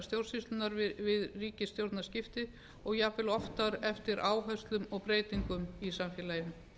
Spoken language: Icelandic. stjórnsýslunnar við ríkisstjórnarskipti og jafnvel oftar eftir áherslum og breytingum í samfélaginu